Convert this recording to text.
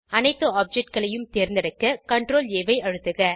அனைத்து ஆப்ஜெக்ட் களையும் தேர்ந்தெடுக்க CTRLA ஐ அழுத்துக